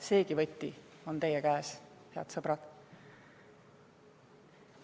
See võti on teie käes, head sõbrad.